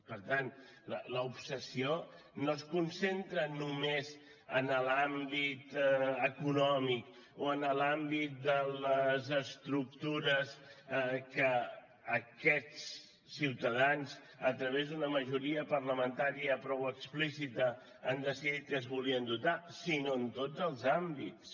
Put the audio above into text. per tant l’obsessió no es concentra només en l’àmbit econòmic o en l’àmbit de les estructures de què aquests ciutadans a través d’una majoria parlamentària prou explícita han decidit que es volien dotar sinó en tots els àmbits